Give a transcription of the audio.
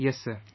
Yes sir